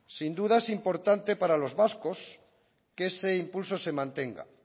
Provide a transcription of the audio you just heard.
sin duda es importante para los vascos que ese impulso se mantenga